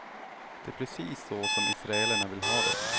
Det är precis så som israelerna vill ha det.